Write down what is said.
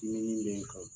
Dimin bɛ n kan